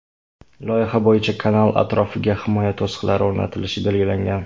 Loyiha bo‘yicha kanal atrofiga himoya to‘siqlari o‘rnatilishi belgilangan.